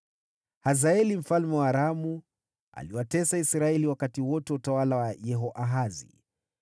Hazaeli mfalme wa Aramu aliwatesa Israeli wakati wote wa utawala wa Yehoahazi.